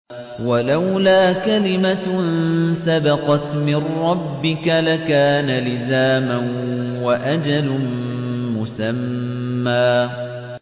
وَلَوْلَا كَلِمَةٌ سَبَقَتْ مِن رَّبِّكَ لَكَانَ لِزَامًا وَأَجَلٌ مُّسَمًّى